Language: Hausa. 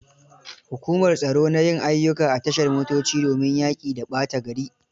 Hukumar tsaro na yin ayyuka a tashar motoci domin yaƙi da ɓata gari.